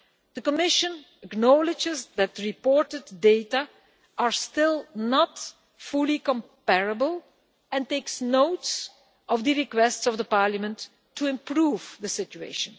The Commission acknowledges that the reported data are still not fully comparable and takes note of the request of the Parliament to improve the situation.